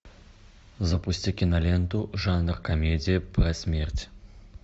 запусти киноленту жанр комедия про смерть